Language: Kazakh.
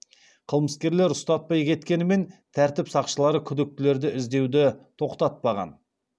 қылмыскерлер ұстатпай кеткенімен тәртіп сақшылары күдіктілерді іздеуді тоқтатпаған